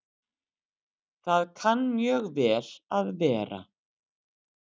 Það kann mjög vel að vera